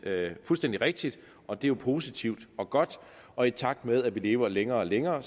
fuldstændig rigtigt og det er jo positivt og godt og i takt med at vi lever længere og længere er